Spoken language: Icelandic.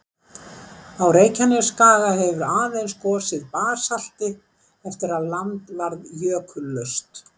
Á Reykjanesskaga hefur aðeins gosið basalti eftir að land varð jökullaust.